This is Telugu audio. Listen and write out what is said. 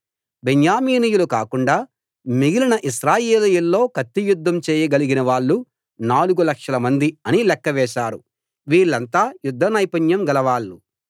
బెన్యామీనీయులు కాకుండా మిగిలిన ఇశ్రాయేలీయుల్లో కత్తియుద్ధం చేయగలిగిన వాళ్ళు నాలుగు లక్షలమంది అని లెక్క వేశారు వీళ్ళంతా యుద్ధ నైపుణ్యం గలవాళ్ళు